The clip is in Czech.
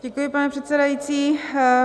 Děkuji, pane předsedající.